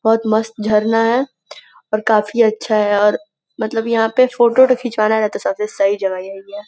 बहोत मस्त झरना है और काफ़ी अच्छा है और मतलब यहाँ पे फोटो ओटो खिचवाना रहे तो सबसे सही जगह यही है।